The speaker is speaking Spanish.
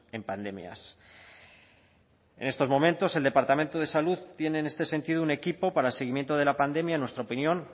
en pandemias en estos momentos el departamento de salud tiene en este sentido un equipo para seguimiento de la pandemia en nuestra opinión